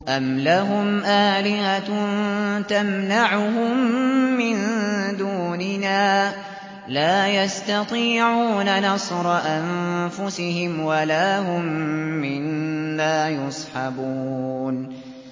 أَمْ لَهُمْ آلِهَةٌ تَمْنَعُهُم مِّن دُونِنَا ۚ لَا يَسْتَطِيعُونَ نَصْرَ أَنفُسِهِمْ وَلَا هُم مِّنَّا يُصْحَبُونَ